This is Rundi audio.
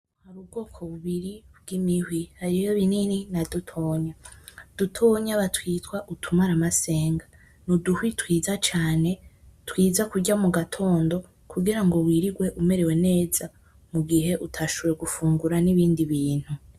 Hari ubwoko bubiri bw'imihwi, hariho binini na dutonya. Dutonya batwita utu maramasenge. Ni uduhwi twiza cane, twiza kurya mu gatondo kugira ngo wirigwe umerewe neza mu gihe utashoboye gufungura n'ibindi bintu.